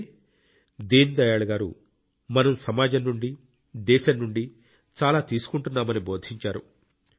అంటే దీన్ దయాళ్ గారు మనం సమాజం నుండి దేశం నుండి చాలా తీసుకుంటున్నామని బోధించారు